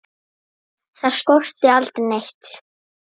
Þar skorti aldrei neitt.